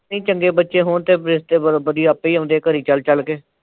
ਨਈਂ ਚੰਗੇ ਬੱਚੇ ਹੋਣ ਤਾਂ ਰਿਸ਼ਤੇ ਵਧੋ ਵਧੀ ਆਪੇ ਈ ਆਉਂਦੇ ਆ ਘਰੀਂ ਚੱਲ ਚੱਲ ਕੇ।